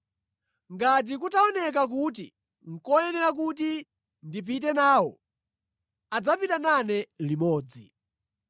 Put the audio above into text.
Ngati kutaoneka kuti nʼkoyenera kuti ndipite nawo, adzapita nane limodzi.